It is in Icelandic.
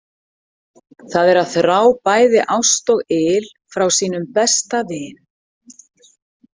Það er að þrá bæði ást og yl frá sínum besta vin.